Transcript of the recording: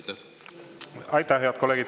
Aitäh, head kolleegid!